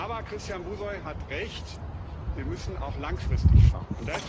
Aber Christian Buşoi hat recht Wir müssen auch langfristig schauen.